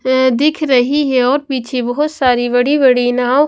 दिख रही है और पीछे बहुत सारी बड़ी-बड़ी नाव--